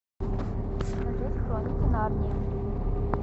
смотреть хроники нарнии